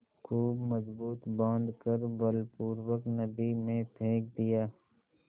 खूब मजबूत बॉँध कर बलपूर्वक नदी में फेंक दिया